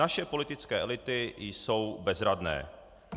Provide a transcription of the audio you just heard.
Naše politické elity jsou bezradné.